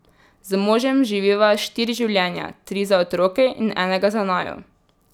Z možem živiva štiri življenja, tri za otroke in enega za naju.